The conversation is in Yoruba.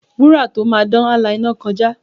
Wúrà tó máa dán, á la iná kọjá.